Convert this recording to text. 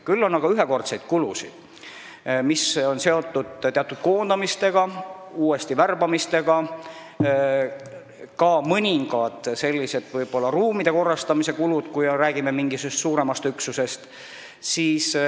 Küll on aga ühekordseid kulusid, mis on seotud koondamistega, uuesti värbamistega, võib-olla ka mõningate ruumide korrastamisega, kui me räägime mingisugusest suuremast üksusest.